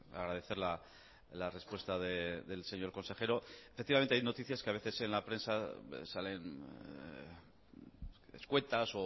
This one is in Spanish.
agradecer la respuesta del señor consejero efectivamente hay noticias que a veces en la prensa salen escuetas